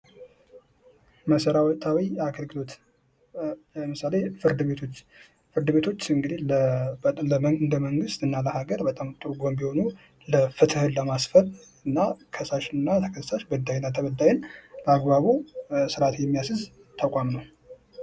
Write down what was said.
መሠረታዊ አገልግሎት ለምሳሌ ፍርድ ቤቶች ፍርድ ቤቶች እንግዲህ ለመንግሥት እና ለሀገር በጣም ጥሩ ጎን የሆኑ ፍትህን ለማስፈን እና ከሳሽና ተከሳሽ በዳይና ተበዳይን በአግባቡ ስርዓት የሚያሲዝ ተቋም ነው።